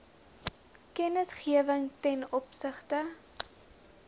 kennisgewing ten opsigte